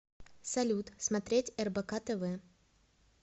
салют смотреть рбк тв